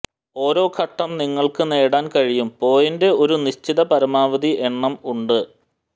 ഓരോ ഘട്ടം നിങ്ങൾക്ക് നേടാൻ കഴിയും പോയിന്റ് ഒരു നിശ്ചിത പരമാവധി എണ്ണം ഉണ്ട്